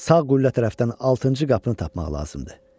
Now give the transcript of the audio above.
Sağ qüllə tərəfdən altıncı qapını tapmaq lazımdır.